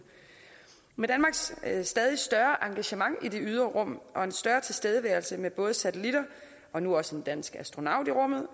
med danmarks stadig større engagement i det ydre rum og en større tilstedeværelse med både satellitter og nu også en dansk astronaut i rummet